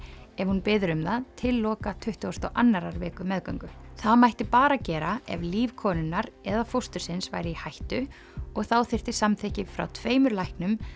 ef hún biður um það til loka tuttugustu og annarrar viku meðgöngu það mætti bara gera ef líf konunnar eða fóstursins væri í hættu og þá þyrfti samþykki frá tveimur læknum